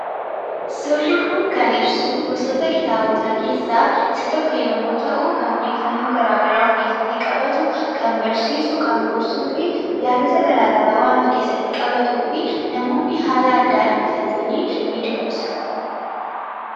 Suurri kun kan ibsu gisoota kitaabotaa keessaa isa tokko yoo ta’u, kan odeeffannoo gara garaa of keessatti qabatu, kqn barsiisu, kan gorsuu fi yaadota gara garaa waan of keessatti qabatuuf namoonni haala addaadhaan bitatanii ni dubbisu.